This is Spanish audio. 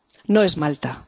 No es Malta.